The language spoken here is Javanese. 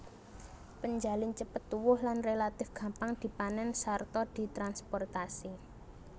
Penjalin cepet tuwuh lan relatif gampang dipanèn sarta ditransprotasi